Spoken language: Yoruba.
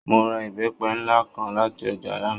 Mo ra ìbẹ́pẹ nlá kan láti ọjà lana.